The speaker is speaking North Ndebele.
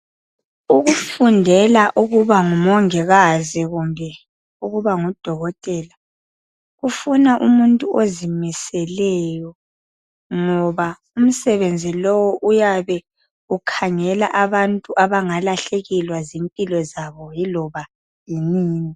Ukufundela ukuba ngumongikazi kumbe ukuba ngudokotela kufuna umuntu ozimiseleyo ngoba umsebenzi lowu uyabe ukhangela abantu abangalahlekelwa zimpilo zabo yiloba yinini.